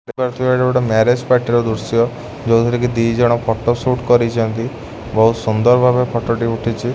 ଦେଖି ପାରୁଥିବେ ଏଟା ଗୋଟେ ମ୍ୟାରେଜ୍ ପାଟିର ଦୃଶ୍ୟ ଯୋଉ ଥିରେକି ଦି ଜଣ ଫୋଟ ସୁଟ୍ କରିଚନ୍ତି ବୋହୁତ୍ ସୁନ୍ଦର ଭାବେ ଫଟ ଟି ଉଠିଛି।